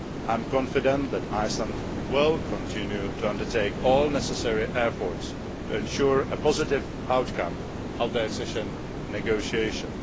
I am confident that Iceland will continue to undertake all necessary efforts to ensure a positive outcome of the accession negotiations.